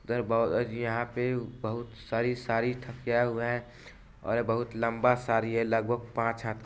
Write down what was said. अगर बॉउजी यहाँ पे बहुत सरी साडी थकिया हुए हैं और बहुत लम्बा साडी हैं लग भग पाँच हा--